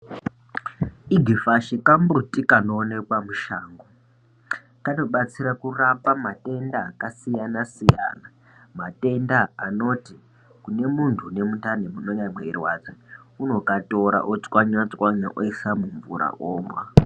Igifashi kamuti kanowonekwa mushango, kanobetsera kurapa matenda akasiyana siyana matenda anoti kunemunhu anemuntani unenge uchirwadza, unokatora wotwanya twanya oisa mumvura onwa.